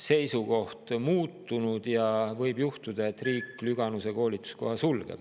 seisukoht on muutunud ja võib juhtuda, et riik Lüganuse koolituskoha sulgeb?